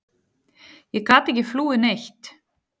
Ég gat ekki flúið neitt.